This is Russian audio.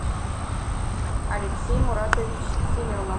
алексей муратович семенов